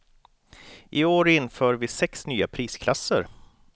I år inför vi sex nya prisklasser.